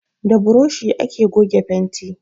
Da buroshi ake fenti